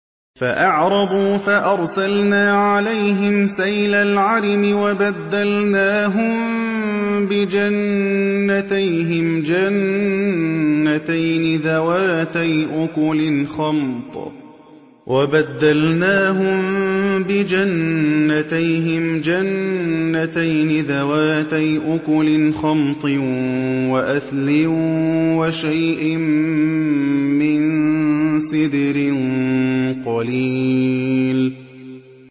فَأَعْرَضُوا فَأَرْسَلْنَا عَلَيْهِمْ سَيْلَ الْعَرِمِ وَبَدَّلْنَاهُم بِجَنَّتَيْهِمْ جَنَّتَيْنِ ذَوَاتَيْ أُكُلٍ خَمْطٍ وَأَثْلٍ وَشَيْءٍ مِّن سِدْرٍ قَلِيلٍ